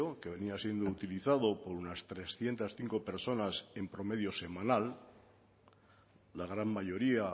que venía siendo utilizado por unas trescientos cinco personas en promedio semanal la gran mayoría